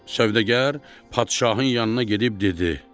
Sövdəgər padşahın yanına gedib dedi: